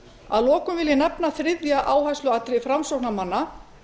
að lokum vil ég nefna þriðja áhersluatriði framsóknarmanna